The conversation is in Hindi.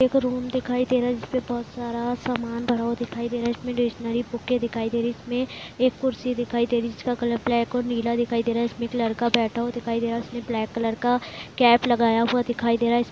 एक रूम दिखाई दे रहा है जिसमें बहोत सारा सामान भरा हुआ दिखाई दे रहा है इसमें बुक दिखाई दे रही इसमें एक कुर्सी दिखाई दे रही है जिसका कलर ब्लैक और नीला दिखाई दे रहा है इसमें एक लड़का बैठा हुआ दिखाई दे रहा है उसने ब्लैक कलर का कैप लगाया हुआ दिखाई दे रहा है।